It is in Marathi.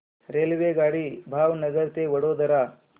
रेल्वेगाडी भावनगर ते वडोदरा